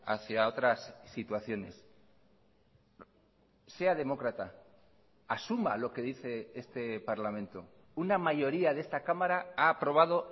hacia otras situaciones sea demócrata asuma lo que dice este parlamento una mayoría de esta cámara ha aprobado